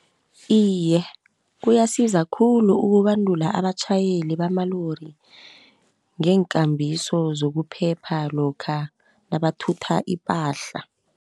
Iye kuyasiza khulu ukubandula abatjhayeli bamalori ngeenkambiso zokuphepha lokha nabathutha ipahla.